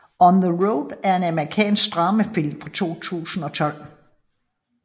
On the Road er en amerikansk dramafilm fra 2012